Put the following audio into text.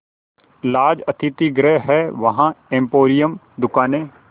laws अतिथिगृह हैं वहाँ एम्पोरियम दुकानें